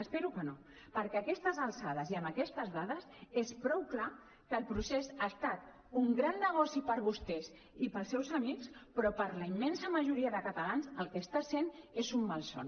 espero que no perquè a aquestes alçades i amb aquestes dades és prou clar que el procés ha estat un gran negoci per vostès i pels seus amics però per la immensa majoria de catalans el que està sent és un malson